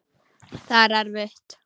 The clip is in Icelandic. Það er erfitt.